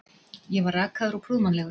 Ég var rakaður og prúðmannlegur.